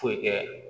Foyi kɛ